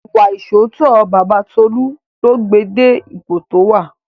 Ìwà ìṣóòótọ́ Baba Tolu ló gbé e dé ipò tí ó wà